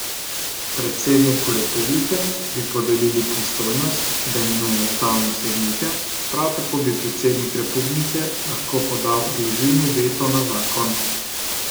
Predsedniku republike bi podelili pristojnost, da imenuje ustavne sodnike, prav tako bi predsednik republike lahko podal odložilni veto na zakon.